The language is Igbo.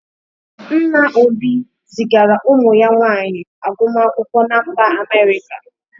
Nna Obi zigara ụmụ ya nwaanyị agụmakwụkwọ na mba Amerịka.